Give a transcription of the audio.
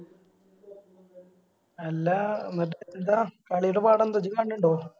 അല്ല എന്നിട്ട് എന്താ കളിടെ പാടെന്താ ഇയ്യ്‌ കാണലിണ്ടോ